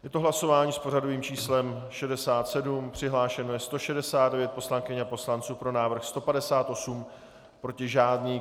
Je to hlasování s pořadovým číslem 67, přihlášeno je 169 poslankyň a poslanců, pro návrh 158, proti žádný.